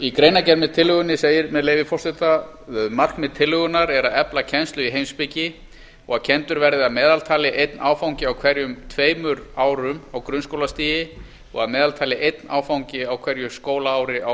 í greinargerð með tillögunni segir með leyfi forseta markmið tillögunnar er að efla kennslu í heimspeki og að kenndur verði að meðaltali einn áfangi á hverjum tveimur árum á grunnskólastigi og að meðaltali einn áfangi á hverju skólaári á